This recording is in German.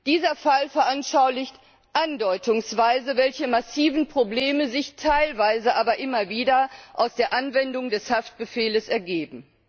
Dieser Fall veranschaulicht andeutungsweise, welche massiven Probleme sich teilweise, aber immer wieder aus der Anwendung des Haftbefehls ergeben.